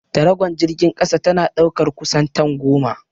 Taragon jirgin kasa tana ɗaukar kusan tan goma.